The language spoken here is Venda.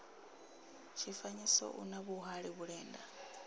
tshifanyiso u na vhuhali vhulenda